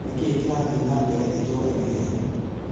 nikiĩ kirathiĩ na mbere itũũra-inĩ rĩanyu